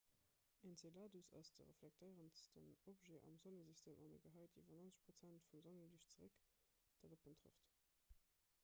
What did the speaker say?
enceladus ass de reflektéierendsten objet am sonnesystem an e gehäit iwwer 90 prozent vum sonneliicht zeréck dat op en trëfft